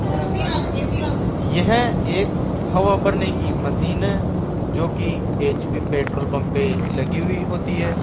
यह एक हवा भरने की मशीन है जो कि एच_पी पेट्रोल पंप पे लगी हुई होती है।